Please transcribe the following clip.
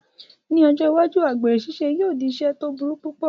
Ní ọjọ́ iwájú, àgbèrè ṣíṣe yóò jẹ́ ẹ̀sẹ̀ tó burú púpọ̀